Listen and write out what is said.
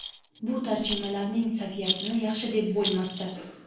Bu tarjimalarning saviyasini yaxshi deb bo‘lmasdi.